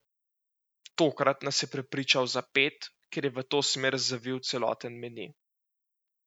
Tokrat nas je prepričal za pet, ker je v to smer zavil celoten meni.